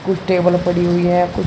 कुछ टेबल पड़ी हुई है --